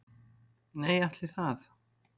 Nei, ætli það.